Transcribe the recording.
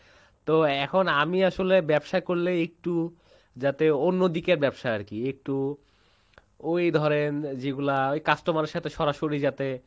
তো এখন আমি আসলে ব্যাবসা করলে একটু যাতে অন্যদিকে ব্যাবসা আরকি একটু ওই ধরেন যেগুলা customer এর সাথে সরাসরি যাতে